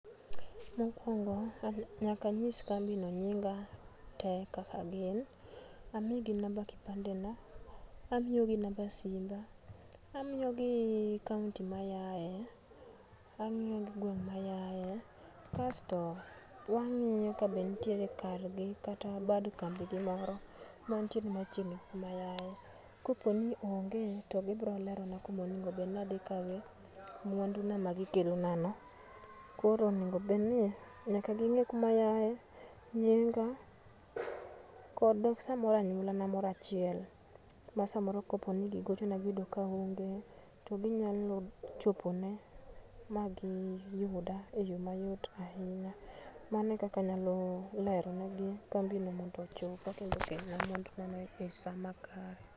Mokuongo nyaka anyis kambino nyinga tee kaka gin, amigi number kipandena , amiyogi number simba, amiyogi county mayae, amiyogi ngweng' mayae, kasto wang'iyo kabenitiere kargi kata bad kambigi moro mantiere machiegni kumayae, koponi onge to gibiro lerona kuma onego bed ni adhi kawo mwanduna magikelonano, koro nyakabedni ging'eyo kumayae, nyinga, kod samoro anyuolana moro achiel ma samoro kopo ni gigochona giyudo kaaonge to ginyalo chopone , magiyuda e yoo mayot ahinya mano e kaka anyalo lero negi kambino mondo ochopi kendo ukelna mwandunano e saa makare.